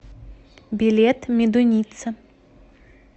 билет медуница